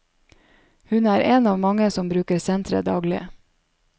Hun er én av mange som bruker senteret daglig.